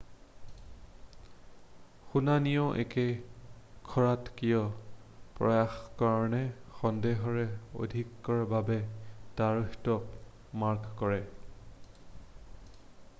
শুনানিয়েও এক খৰতকীয়া প্ৰয়াসৰ কাৰণে সন্দেহৰ অধিকাৰৰ বাবে তাৰিখটোক মাৰ্ক কৰে৷